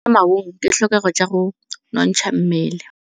Go ja maungo ke ditlhokegô tsa go nontsha mmele.